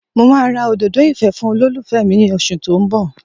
Mo máa ra òdòdó ìfẹ́ fún olólùfẹ́ mi ní oṣù tó ń bọ̀